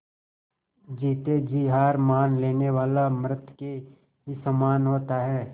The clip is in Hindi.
जीते जी हार मान लेने वाला मृत के ही समान होता है